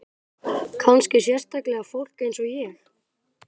Kannski sérstaklega fólk eins og ég.